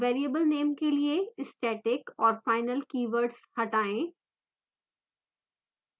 variable name के लिए static और final keywords हटाएँ